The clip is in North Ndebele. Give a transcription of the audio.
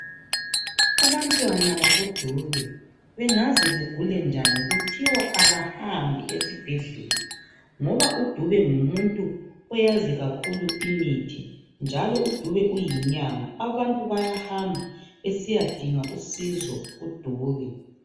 Abantwana bakoDube bengaze bagule njani kuthiwa abahambi esibhedlela ngoba uDube ngumuntu oyazi kakhulu imithi njalo uDube uyinyanga. Abantu bayahamba besiyadinga usizo kuDube.